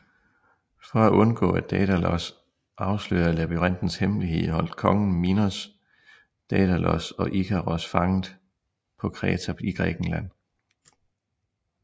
For at undgå at Daidalos afslørede labyrintens hemmelighed holdt kongen Minos Daidalos og Ikaros fanget på Kreta i Grækenland